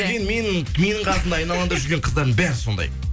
мен менің менің қасымда айналамда жүрген қыздардың бәрі сондай